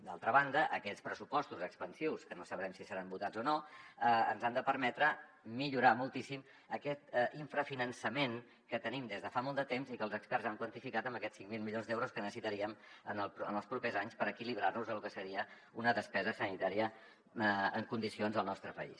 d’altra banda aquests pressupostos expansius que no sabrem si seran votats o no ens han de permetre millorar moltíssim aquest infrafinançament que tenim des de fa molt de temps i que els experts han quantificat en aquests cinc mil milions d’euros que necessitaríem en els propers anys per equilibrar nos de lo que seria una despesa sanitària en condicions al nostre país